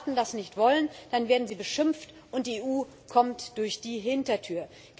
Und wenn Staaten das nicht wollen, dann werden sie beschimpft, und die EU kommt durch die Hintertür.